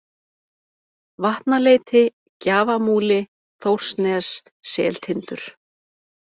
Vatnaleiti, Gjafamúli, Þórsnes, Seltindur